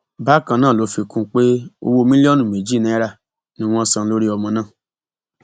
bákan náà ló fi kún un pé owó mílíọnù méjì náírà ni wọn san lórí ọmọ náà